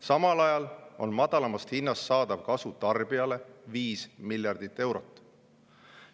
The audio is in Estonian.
Samal ajal on madalamast hinnast saadav kasu tarbijale 5 miljardit eurot.